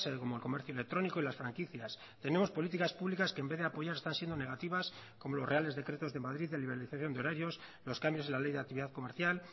como el comercio electrónico y las franquicias tenemos políticas públicas que en vez de apoyar están siendo negativas como los reales decretos de madrid de liberalización de horarios los cambios de la ley de actividad comercial